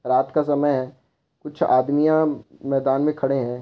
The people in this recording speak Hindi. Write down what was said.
रात का समय है कुछ आदमियत मैदान में खड़े है।